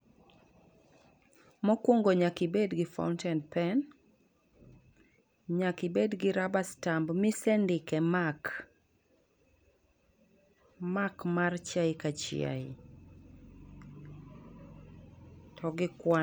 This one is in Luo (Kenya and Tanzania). Mo kwongo nyaka i bed gi fountain pen nyaka i bed gi rubber stamp ma i sendike mark, mark mar chiae ka chiae to gi kwan.